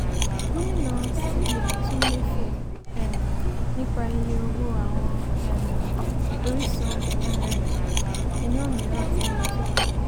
gómìnà [c] cbn tún méfò um nípa iye owó àwọn um orísun um iná mìíràn tí ńlọ sókè.